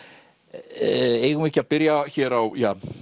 eigum við ekki að byrja hér á